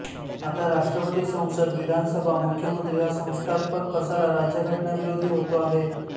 आता राष्ट्रपती संसद विधानसभा मुख्यमंत्री हा संस्थात्मक पसारा राज्यघटनाविरोधी होतो आहे